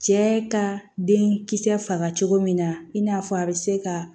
Cɛ ka den kisɛ faga cogo min na i n'a fɔ a bɛ se ka